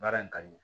Baara in ka di